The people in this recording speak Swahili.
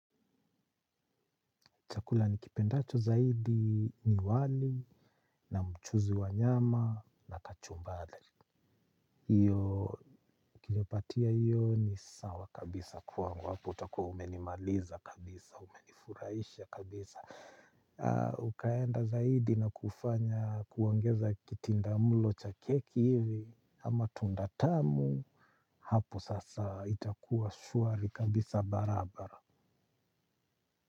Chakula nikipendacho zaidi ni wali na mchuzi wa nyama na kachumbari. Hiyo ukinipatia hiyo ni sawa kabisa kwangu. Hapo utakuwa umenimaliza kabisa, umenifurahisha kabisa. Ukaenda zaidi na kufanya kuongeza kitindamlo cha keki hivi ama tunda tamu. Hapo sasa itakuwa shwari kabisa barabara.